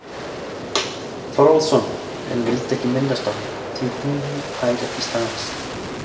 Þorvaldsson, en vildi ekki minnast á hana, því hún fær ekki staðist.